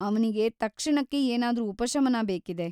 ಅವ್ನಿಗೆ ತಕ್ಷಣಕ್ಕೆ ಏನಾದ್ರೂ ಉಪಶಮನ ಬೇಕಿದೆ.